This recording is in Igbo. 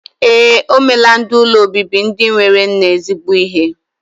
Ee, omelaa ndi ụlọ obibi ndi enwero nne zigbo ihe.